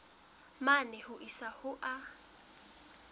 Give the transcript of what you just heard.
mane ho isa ho a